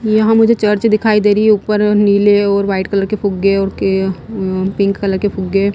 यहाँ मुझे चर्च दिखाई दे रही है ऊपर नीले और वाइट कलर के फुग्गे और पिंक कलर के फुग्गे--